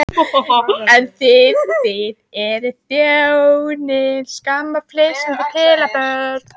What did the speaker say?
En þið þið eruð þjóðinni til skammar, flissandi pelabörn.